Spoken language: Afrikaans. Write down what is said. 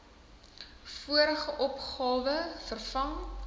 vorige opgawes vervang